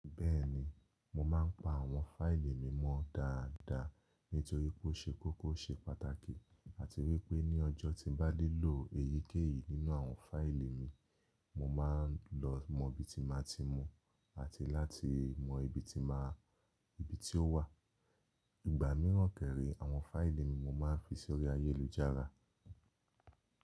Bẹ́ẹ̀ni, mo máa ń pa àwọn fáìlì mi mọ́ dáadáa nítorí pé ó ṣe kókó ṣe pàtàkì àti wípé ní ọjọ́ tí mo bá nílò èyíkéyìí nínú àwọn fáìlì mi, mo máa ń lọ mọ ibi tí máa ti mu àti láti mọ ibi tí n máa ibi tí ó wà. Ìgbà míràn kẹ́rẹ̀, àwọn fáìlì mi mo máa ń fi sórí ayélujára.